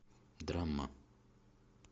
драма